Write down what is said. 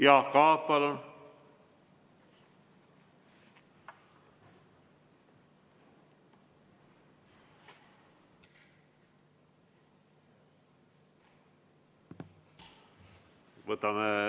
Jaak Aab, palun!